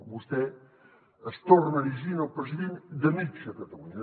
vostè es torna a erigir en el president de mitja catalunya